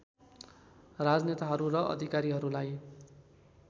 राजनेताहरू र अधिकारीहरूलाई